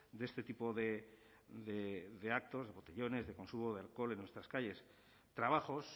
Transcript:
de este tipo de actos de botellones de consumo de alcohol en nuestras calles trabajos